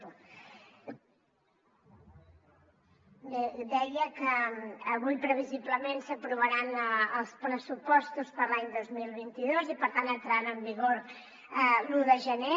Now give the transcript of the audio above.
bé deia que avui previsiblement s’aprovaran els pressupostos per a l’any dos mil vint dos i per tant entraran en vigor l’un de gener